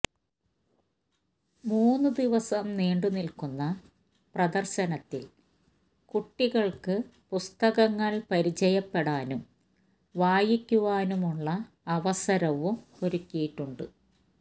മൂന്ന് ദിവസം നീണ്ട നില്ക്കുന്ന പ്രദര്ശനത്തില് കൂട്ടികള്ക്ക് പുസ്തകങ്ങള് പരിചയപ്പെടാനും വായിക്കുവാനുമുള്ള അവസരവും ഒരുക്കിയിട്ടുണ്ട്